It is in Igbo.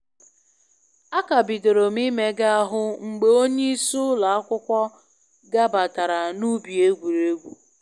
A ka bidorom imega ahụ mgbe onye isi ụlọ akwụkwọ gabatara na ubi egwuregwu